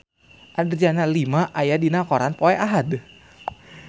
Adriana Lima aya dina koran poe Ahad